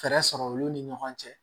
Fɛɛrɛ sɔrɔ olu ni ɲɔgɔn cɛ